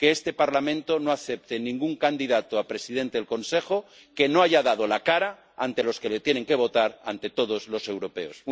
Que este Parlamento no acepte ningún candidato a presidente de la Comisión que no haya dado la cara ante los que le tienen que votar, ante todos los europeos.